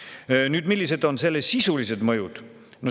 Millised on selle sisulised mõjud?